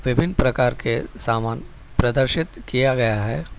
विभिन्न प्रकार के समान प्रदर्शित किया गया है।